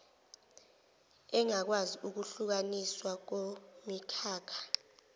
engakwazi ukuhlukaniswa kumikhakha